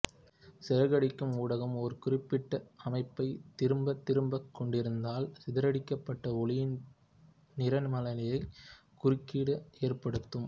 சிதறடிக்கும் ஊடகம் ஓர் குறிப்பிட்ட அமைப்பைத் திரும்பத் திரும்பக் கொண்டிருந்தால் சிதறடிக்கப்பட்ட ஒளியின் நிறமாலையில் குறுக்கீடுகள் ஏற்படுத்தும்